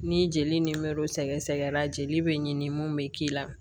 Ni jeli nimɛro sɛgɛsɛgɛra jeli bɛ ɲini mun bɛ k'i la